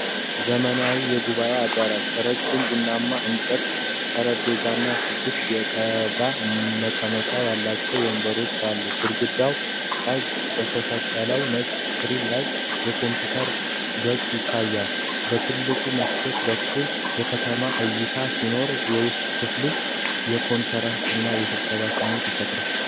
ዘመናዊ የጉባኤ አዳራሽ፣ ረጅም ቡናማ የእንጨት ጠረጴዛና ስድስት የቆዳ መቀመጫ ያላቸው ወንበሮች አሉ። ግድግዳ ላይ በተሰቀለው ነጭ ስክሪን ላይ የኮምፒውተር ገጽ ይታያል። በትልቁ መስኮት በኩል የከተማ እይታ ሲኖር፣ የውስጥ ክፍል የኮንፈረንስ እና የስብሰባ ስሜት ይፈጥራል።